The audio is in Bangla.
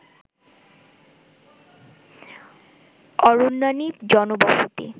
অরণ্যানী জনবসতি